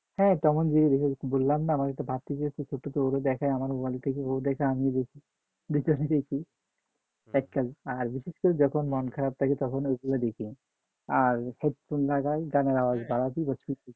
হ্যাঁ Tom and Jerry দেখি বললাম না আমার একটা ভাতিজি আছে সে তো দেখে আমিও দেখি আর বিশেষ করে দেখি যখন মন খারাপ থাকে তখন ওইগুলো দেখি আর